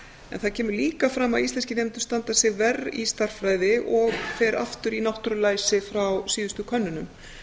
en það kemur líka fram að íslenskir nemendur standa sig verr í stærðfræði og fer aftur í náttúrulæsi frá síðustu könnunum